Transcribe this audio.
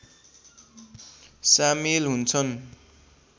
सामेल हुन्छन्